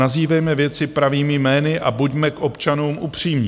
Nazývejme věci pravými jmény a buďme k občanům upřímní.